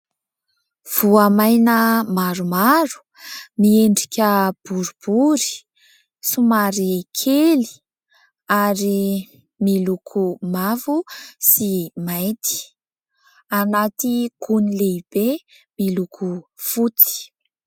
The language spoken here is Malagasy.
Voamaina maromaro miendrika boribory, somary kely ary miloko mavo sy mainty. Anaty gony lehibe miloko fotsy.